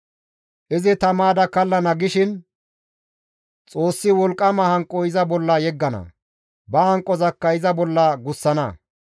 Izi ta maada kallana gishin Xoossi wolqqama hanqo iza bolla yeggana; ba hanqozakka iza bolla gussana.